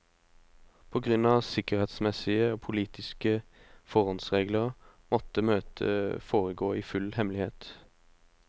På grunn av sikkerhetsmessige og politiske forhåndsregler måtte møtet foregå i full hemmelighet.